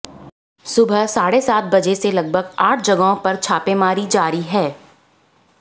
सुबह साढ़े सात बजे से लगभग आठ जगहों पर छापेमारी जारी है